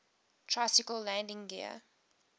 tricycle landing gear